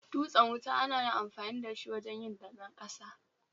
Dutsen wuta ana amafni da shi wajen yin daben ƙasa